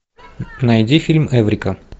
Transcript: найди фильм эврика